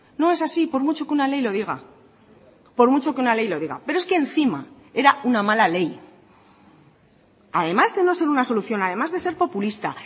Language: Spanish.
no es así por mucho que una ley lo diga por mucho que una ley lo diga pero es que encima era una mala ley además de no ser una solución además de ser populista